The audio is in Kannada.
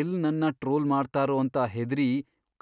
ಎಲ್ಲ್ ನನ್ನ ಟ್ರೋಲ್ ಮಾಡ್ತಾರೋ ಅಂತ ಹೆದ್ರಿ